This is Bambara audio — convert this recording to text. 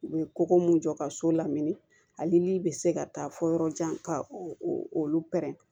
U bɛ koko mun jɔ ka so lamini ani bi se ka taa fɔ yɔrɔ jan ka olu pɛrɛn-